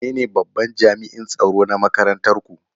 Wanene babban jami'an tsaro na makarantar ku?